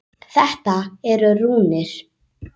Þetta eru rúnir.